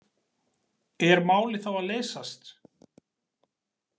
Er málið þá að leysast?